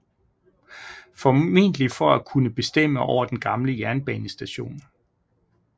Formentlig for at kunne bestemme over den gamle jernbanestation